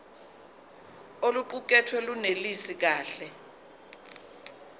oluqukethwe lunelisi kahle